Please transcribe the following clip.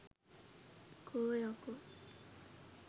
කෝ යකෝ